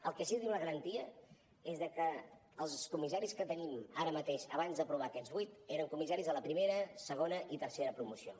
del que sí que tenim la garantia és que els comissaris que teníem ara mateix abans d’aprovar aquests vuit eren comissaris de la primera segona i tercera promocions